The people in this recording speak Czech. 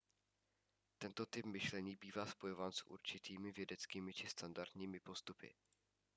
tento typ myšlení bývá spojován s určitými vědeckými či standardními postupy